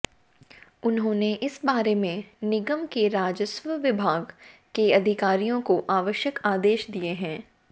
उन्होंने इस बारे में निगम के राजस्व विभाग के अधिकारियों को आवश्यक आदेश दिये हैं